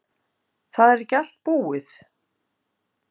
Það er ekki allt búið.